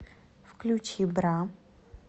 включи бра